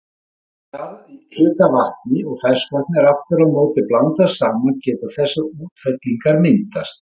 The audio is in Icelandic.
Ef jarðhitavatni og ferskvatni er aftur á móti blandað saman geta þessar útfellingar myndast.